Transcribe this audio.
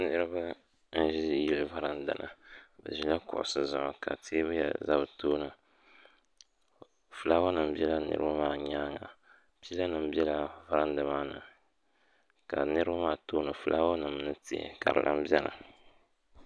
Niriba n-ʒi yili varanda ni bɛ ʒila kuɣusi zuɣu ka teebuya za bɛ tooni fulaawanima bela niriba maa nyaaŋa pilanima bela varanda maa ni ka niriba maa tooni fulaawanima ni tihi ka di lan beni.